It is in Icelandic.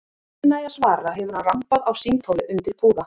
Áður en ég næ að svara hefur hann rambað á símtólið undir púða.